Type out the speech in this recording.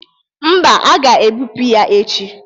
Mba, a ga-ebụpu ya echi.